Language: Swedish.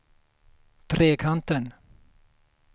Trekanten